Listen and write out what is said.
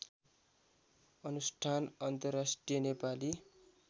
अनुष्ठान अन्तर्राष्ट्रिय नेपाली